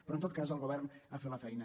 però en tot cas el govern ha fet la feina